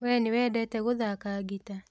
We nĩwendete gũthaka ngita?